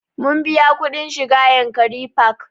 Mun biya kuɗin shiga yankari park